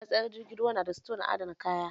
Matsayar jirgin ruwa na da sito na adana kaya